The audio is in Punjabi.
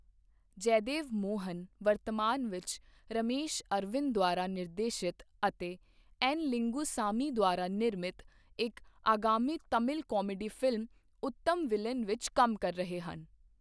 ਜੈਦੇਵ ਮੋਹਨ ਵਰਤਮਾਨ ਵਿੱਚ ਰਮੇਸ਼ ਅਰਵਿੰਦ ਦੁਆਰਾ ਨਿਰਦੇਸ਼ਿਤ ਅਤੇ ਐੱਨ ਲਿੰਗੁਸਾਮੀ ਦੁਆਰਾ ਨਿਰਮਿਤ ਇੱਕ ਆਗਾਮੀ Tamil comedy film Uttama villain ਵਿੱਚ ਕੰਮ ਕਰ ਰਹੇ ਹਨ।